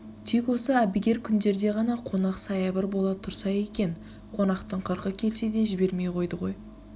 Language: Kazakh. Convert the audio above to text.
тек осы әбігер күндерде ғана қонақ саябыр бола түрса екен қонақтың қыркы келсе де жібермейді ғой